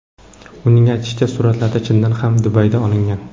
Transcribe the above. Uning aytishicha, suratlar chindan ham Dubayda olingan.